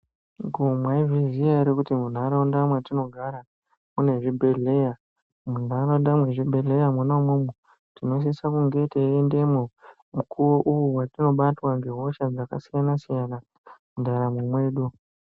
Komwaizviziya ere kuti munharaunda mwatinogara mwune zvibhedhleya. Munharaunda mwezvibhedhleya mwona-mwomwo tinosisa kunge teiendemwo mukuvo uvo vatinobatwa ngehosha dzakasiyana-siyana. mundaramo mwedu.